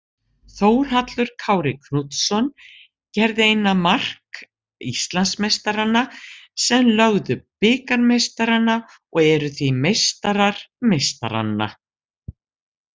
Þórhallur Kári Knútsson gerði eina mark Íslandsmeistaranna sem lögðu bikarmeistarana og eru því meistarar meistaranna.